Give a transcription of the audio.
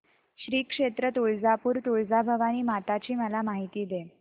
श्री क्षेत्र तुळजापूर तुळजाभवानी माता ची मला माहिती दे